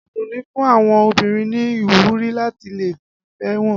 Adunni fún àwọn obìnrin ní ìwúrí láti lé ìfẹ́ wọn.